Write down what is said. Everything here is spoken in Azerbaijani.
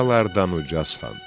Ucalardan ucalsan.